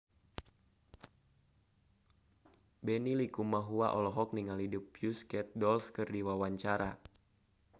Benny Likumahua olohok ningali The Pussycat Dolls keur diwawancara